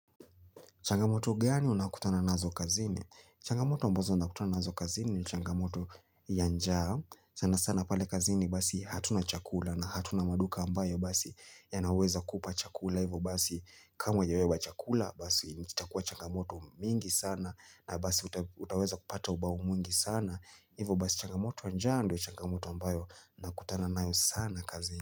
Changamoto gani unakutana nazo kazini? Changamoto ambazo unakutana nazo kazini ni changamoto ya njaa. Sana sana pale kazini basi hatuna chakula na hatuna maduka ambayo basi yanaweza kupa chakula. Hivo basi kama hujabeba chakula basi itakuwa changamoto mingi sana na basi utaweza kupata ubao mwingi sana. Hivo basi changamoto ya njaa ndo changamoto ambayo nakutana nayo sana kazini.